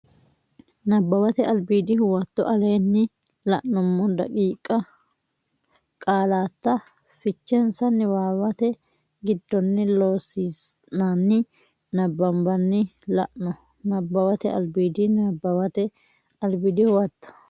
Nabbawate Albiidi Huwato aleenni la nummo daqiiqa qaallata fichensa niwaawate giddonni Loossinanni nabbambanni la no Nabbawate Albiidi Nabbawate Albiidi Huwato.